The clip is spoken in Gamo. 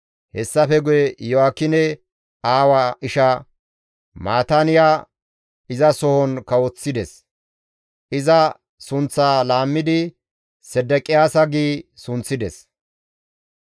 Hessafe guye Iyo7aakine aawa isha Maataaniya izasohon kawoththides; iza sunththaa laammidi Sedeqiyaasa gi sunththides.